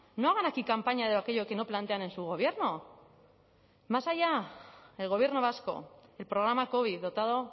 no hagan aquí campaña de aquello que no plantean en su gobierno más allá el gobierno vasco el programa covid dotado